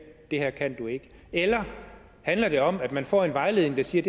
det her kan du ikke eller handler det om at man får en vejledning der siger